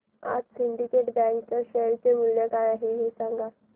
आज Syndicate bank च्या share चे मूल्य काय आहे हे सांगा